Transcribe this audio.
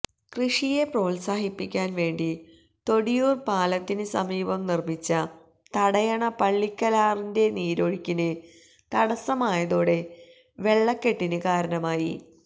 കൃഷിയെ പ്രോത്സാഹിപ്പിക്കാന് വേണ്ടി തൊടിയൂര് പാലത്തിന് സമീപം നിര്മിച്ച തടയണ പള്ളിക്കലാറിന്റെ നീരൊഴുക്കിന് തടസമായതോടെ വെള്ളക്കെട്ടിന് കാരണമായി